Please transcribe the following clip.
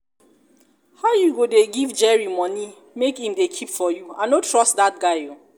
how you go dey give jerry money make im dey keep for you i no trust dat guy oo